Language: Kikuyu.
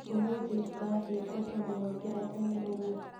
Ũmũthĩ ũrathiĩ kũ tondũ wokĩra tene ũguo?